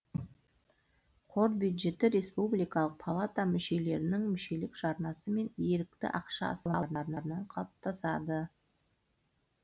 қор бюджеті республикалық палата мүшелерінің мүшелік жарнасы мен ерікті ақша салымдарынан қалыптасады